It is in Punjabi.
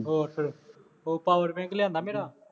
ਹੋਰ ਫੇਰ ਉਹ ਪਾਵਰ ਬੈਕ ਲਿਆਂਦਾ ਮੇਰਾ